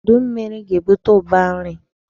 Udu mmiri ga-ebute ụba nri.